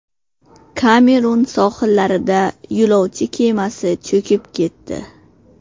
Kamerun sohillarida yo‘lovchi kemasi cho‘kib ketdi.